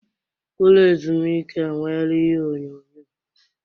Ụlọ ezumike enweela ihe onyonyo.